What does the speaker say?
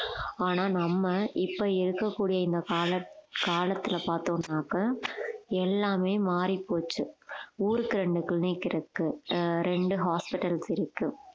ஆனா நம்ம இப்ப இருக்கக்கூடிய இந்த கால காலத்துல பாத்தோம்னாக்க எல்லாமே மாறிப்போச்சு ஊருக்கு ரெண்டு clinic இருக்கு ஆஹ் ரெண்டு hospitals இருக்கு